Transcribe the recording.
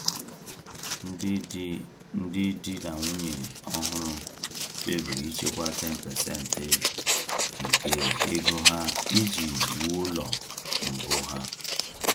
Ndị di Ndị di na nwunye ọhụrụ kpebiri ichekwa 10% nke ego ha iji wuo ụlọ mbụ ha.